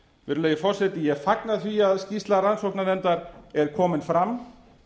virðulegi forseti ég fagna því að skýrsla rannsóknarnefndar er komin fram